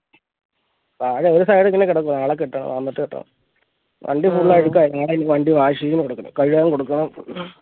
താഴെ ഒരു side ഇങ്ങനെ കിടക്കുവ നാളെ കെട്ടണം വന്നിട്ട് കെട്ടാം വണ്ടി full അഴുക്കാ കഴുകാൻ engine വണ്ടി wash ചെയ്യാൻ കൊടുക്കണം